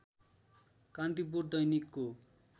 कान्तिपुर दैनिकको